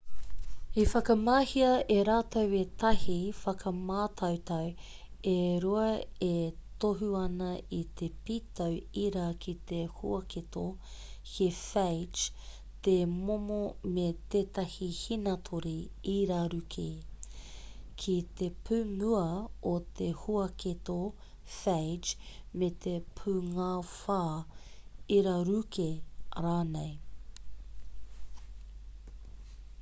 i whakamahia e rātau ētahi whakamātautau e rua e tohu ana i te pītau ira ki te huaketo he phage te momo me tētahi hīnātore iraruke ki te pūmua o te huaketo phage me te pūngāwhā iraruke rānei